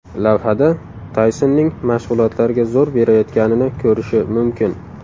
Lavhada Taysonning mashg‘ulotlarga zo‘r berayotganini ko‘rishi mumkin.